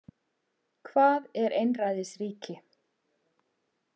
Hvað er einræðisríki?